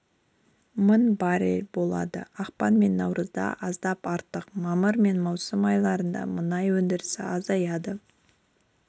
мың баррель болды ақпан мен наурызда аздап арттық мамыр мен маусым айларында мұнай өндірісі азаяды